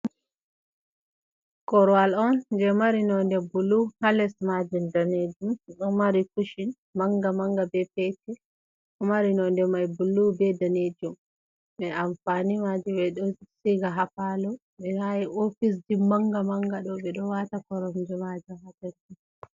Korowal on je mari nonde bulu ha les maajum danejum ɗo mari kushin manga manga be petel, ɗo mari nonde mai bulu be danejum, be amfani maji ɓe ɗo siiga ha faalo bena ofisji manga manga ɗo ɓe ɗo waata koronje maajum ha totton.